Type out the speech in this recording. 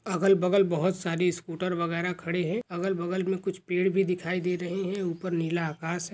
अगल बगल बहुत सारे स्कूटर वगेरा खड़े है अगल बगल मे कुछ पेड़ भी दिखाई दे रहे है ऊपर नीला आकाश है।